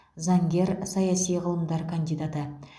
заңгер саяси ғылымдар кандидаты